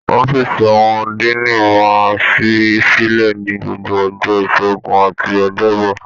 Ọ̀fiísí àwọn Diini máa n sí sílẹ ní gbogbo ọjọ́ ìṣẹgun àti ọjọbọ.